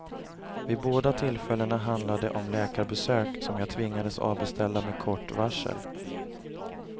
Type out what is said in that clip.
Vid båda tillfällena handlade det om läkarbesök, som jag tvingades avbeställa med kort varsel.